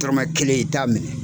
Tɔrɔmɛn kelen i t'a minɛ.